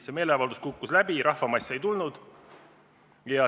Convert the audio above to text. See meeleavaldus kukkus läbi, rahvamasse ei tulnud.